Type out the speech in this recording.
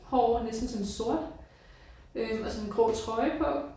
Hår næsten sådan sort øh og så en grå trøje på